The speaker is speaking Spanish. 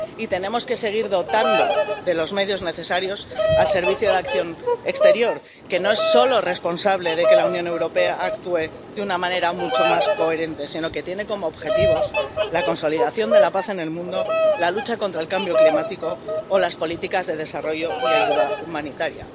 Y tenemos que seguir dotando de los medios necesarios al Servicio Europeo de Acción Exterior, que no es solo responsable de que la Unión Europea actúe de una manera mucho más coherente, sino que tiene como objetivos la consolidación de la paz en el mundo, la lucha contra el cambio climático o las políticas de desarrollo y ayuda humanitaria.